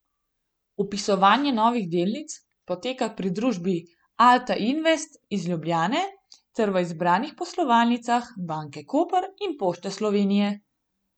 Vpisovanje novih delnic poteka pri družbi Alta Invest iz Ljubljane ter v izbranih poslovalnicah Banke Koper in Pošte Slovenije.